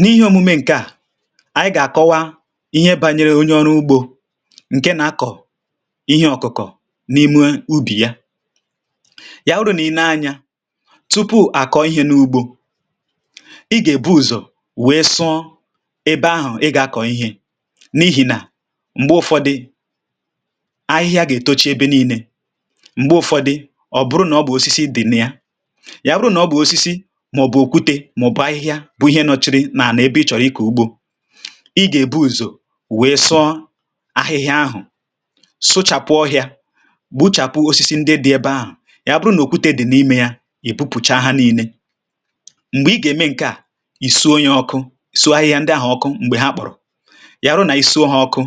N’ihi òmume ǹke à ànyị gà-àkọwa ihe bȧnyere onye ọrụ ugbȯ ǹke nà-akọ̀ ihe ọ̀kụ̀kọ̀ n’ime ubì ya, ya wụrụ nà i nee anyȧ tupu à kọọ ihė n’ugbȯ i gà-èbu ụ̀zọ wèe sụọ ebe ahụ̀ ị gà-akọ̀ ihė n’ihì nà m̀gbè ụ̀fọdị ahịhịa gà-ètocha ebe nii̇nė, m̀gbè ụ̀fọdị ọ̀ bụrụ nà ọ bụ̀ osisi dị̀ na ya, ya bụrụ n'ọbu osisi maọbu okwute maòbù ahịhịa bú ihe nọchiri nà-ànà ebe ị chọ̀rọ̀ ịkọ̀ ugbȯ, ị gà-èbu ùzò wèe sọ ahịhịa ahụ̀ sụchàpụ̀ ọhịa, gbuchàpụ osisi ndị dị ebe ahụ̀ ya bụrụ nà okwute dị̀ n’imė ya ị̀ bupùcha ha nii̇nė, m̀gbè ị gà-ème ǹke à ìso ya ọkụ sụọ ahịhịa ndị ahụ̀ ọkụ m̀gbè ha kpọ̀rọ̀ ya hụ nà ìsò ha ọkụ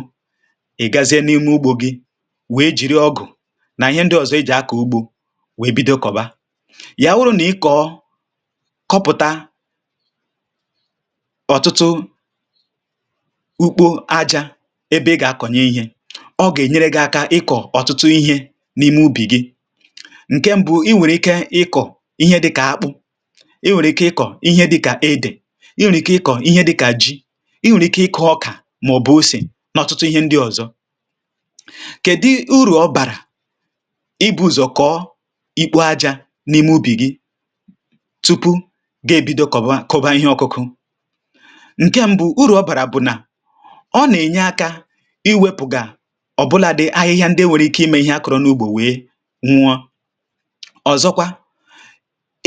ị̀ gazie n’ime ugbȯ gị wèe jìrì ọgụ̀ nà ihe ndị ọzọ ejì akọ ugbȯ wèe bidokọba. Ya wụrụ nà ị kọ̀kọpụta ọ̀tụtụ ukpo ajȧ ebe ị gà-akọ̀nye ihė ọ gà-ènyere gị aka ịkọ̀ ọ̀tụtụ ihė n’ime ubì gị, ǹke mbụ̇ i nwèrè ike ịkọ̀ ihe dịkà akpụ, i nwèrè ike ịkọ̀ ihe dịkà edè, i nwèrè ike ịkọ̀ ihe dịkà ji, i nwèrè ike ịkọ̇ ọkà màọ̀bụ̀ ose n’ọ̀tụtụ ihe ndị ọ̀zọ. kèdi urù ọ bàrà ịbụ̇zọ̀ kọọ ikpo ajȧ n’ime ubì gị tụpụ gá-ebido kọwa kọwa ihe ọkuku, ǹke mbụ, ụrụ ọ bàrà bụ̀ nà ọ nà-ènye akȧ iwėpụ̀ gà ọ̀bụlȧdị̇ ahịhịa ndị nwèrè ike imė ihe akọ̀rọ̀ n’ugbȯ wee nwụọ, ọ̀zọkwa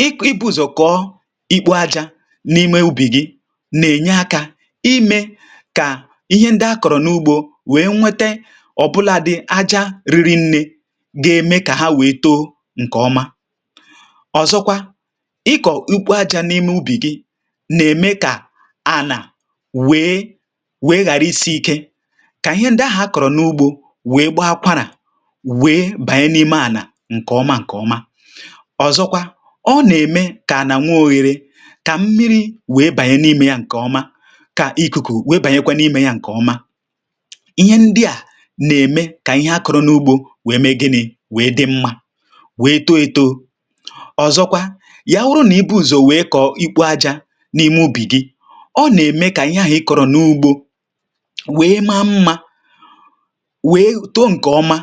ịk ibu̇zọ̀ kọ̀ọ ịkpụ ajȧ n’ime ubì gi nà-ènye akȧ imė kà ihe ndị akọ̀rọ̀ n’ugbȯ wee nwete ọ̀bụlȧdị̇ aja riri nnė ga-eme kà ha wèe too ǹkè ọma, ọ̀zọkwa ịkọ ịkpọ aja n'ime ubi gi na-emé ka anà wèe wèe ghara isi ike kà ihe ndị ahụ̀ a kọ̀rọ̀ n’ugbȯ wèe gbaa akwarà wèe bànye n’ime anà ǹkè ọma ǹkè ọma, ọzọkwa ọ nà-ème kà ànà nwe òghere kà mmiri wèe bànye n'imė ya ǹkè ọma kà ikuku wèe bànyekwa n’imė ya ǹkè ọma. Ihe ndị à nà-ème kà ihe a kọ̀rọ̀ n’ugbȯ wèe mee gịnị̇ wèe dị mmȧ wèe too eto, ọ̀zọkwa ya wụrụ na-ibu ụzọ wee kọ ịkpọ aja n’ime ubì gị, ọ nà-ème kà ihe ahụ̀ ị kọ̀rọ̀ n’ugbȯ wèe maa mmȧ wèe too ǹkè ọma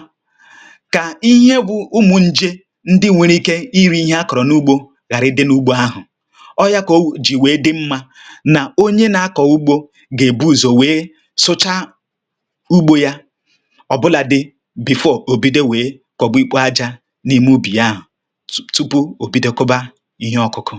kà ihe bụ̇ ụmụ̀ ǹjè ndị nwėrė ike i ri̇ ihe a kọ̀rọ̀ n’ugbȯ ghàra i dị n’ugbȯ ahụ̀. Ọọ̇ ya kà o jì wèe dị mmȧ nà onye na-akọ̀ ugbȯ gà-ebu ụzọ̀ wèe sụcha ugbȯ yȧ ọ̀ bụlà dị̀ before ò bido wèe kọ̀ba ikpo ajȧ n’ime ubì ya ahụ̀tụ tụpụ ò bido kọba ihe ọ̀kụkụ̀.